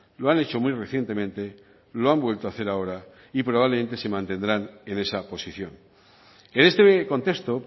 lo han hecho muy recientemente lo han vuelto a hacer ahora y probablemente se mantendrán en esa posición en este contexto